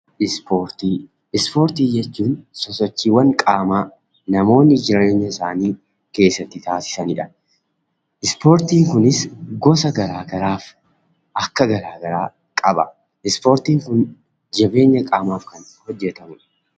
Ispoortii: Ispoortii jechuun sosochiiwwan qaamaa namoonni jireenya isaanii keessatti taasisanidha. Ispoortiin kunis gosa garaa garaaf akka garaa garaa qaba. Ispoortiin kun jabeenya qaamaaf kan hojjetamudha.